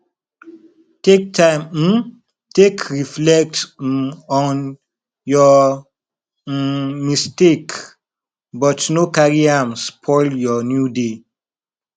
take time um take reflect um on yur um mistake but no carry am spoil yur new day